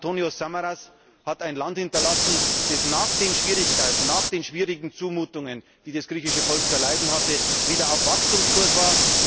Antonis Samaras hat ein Land hinterlassen, das nach den Schwierigkeiten, nach den schwierigen Zumutungen, die das griechische Volk zu erleiden hatte, wieder auf Wachstumskurs